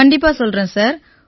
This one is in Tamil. கண்டிப்பா சொல்றேன் சார்